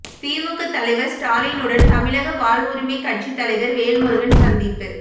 திமுக தலைவர் ஸ்டாலினுடன் தமிழக வாழ்வுரிமை கட்சி தலைவர் வேல்முருகன் சந்திப்பு